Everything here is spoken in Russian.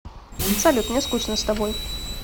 салют мне скучно с тобой